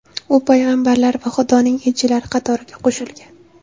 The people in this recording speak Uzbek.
U payg‘ambarlar va Xudoning elchilari qatoriga qo‘shilgan.